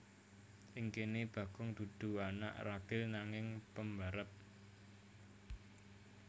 Ing kene Bagong dudu anak ragil nanging pambarep